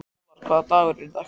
Fjólar, hvaða dagur er í dag?